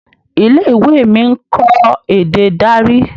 ilé-ìwé mí nkọ èdè Dari.